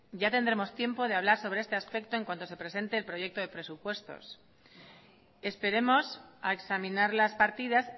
ya tendremos tiempo de hablar sobre este aspecto en cuanto se presente el proyecto de presupuestos esperemos a examinar las partidas